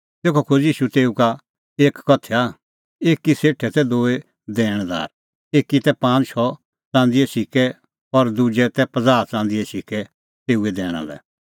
तेखअ खोज़ी ईशू तेऊ का एक कथैया एकी सेठे तै दूई दैणदार एकी तै पांज़ शौ च़ंदीए सिक्कै और दुजै तै पज़ाह च़ंदीए सिक्कै तेऊए दैणा लै